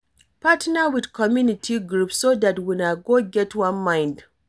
Partner with community group so dat una go get one mind